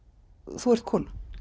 þú ert kona